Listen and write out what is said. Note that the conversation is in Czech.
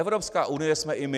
Evropská unie jsme i my.